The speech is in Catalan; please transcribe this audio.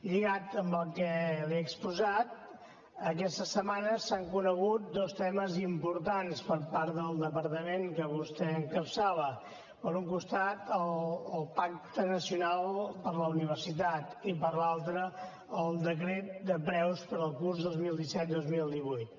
lligat amb el que li he exposat aquesta setmana s’han conegut dos temes importants per part del departament que vostè encapçala per un costat el pacte nacional per a la universitat i per l’altre el decret de preus per al curs dos mil disset dos mil divuit